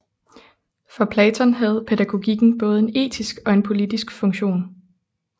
For Platon havde pædagogikken både en etisk og en politisk funktion